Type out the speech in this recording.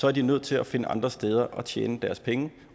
er de nødt til at finde andre steder at tjene deres penge